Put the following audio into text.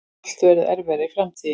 Allt verður erfiðara í framtíðinni.